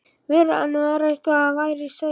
vöruðu hann við að eitthvað væri á seyði.